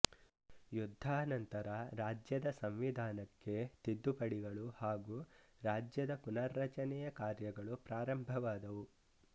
ಯುದ್ಧಾನಂತರ ರಾಜ್ಯದ ಸಂವಿಧಾನಕ್ಕೆ ತಿದ್ದುಪಡಿಗಳು ಹಾಗೂ ರಾಜ್ಯದ ಪುನರ್ರಚನೆಯ ಕಾರ್ಯಗಳು ಪ್ರಾರಂಭವಾದವು